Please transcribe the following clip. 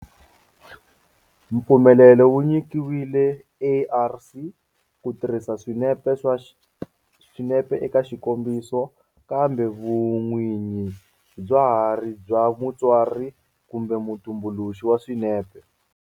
Mpfumelelo wu nyikiwile ARC ku tirhisa swinepe eka xikombiso kambe vun'winyi bya ha ri bya mutsari kumbe mutumbuluxi wa swinepe.